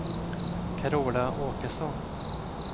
Carola Åkesson